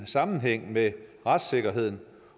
sammenhæng med retssikkerheden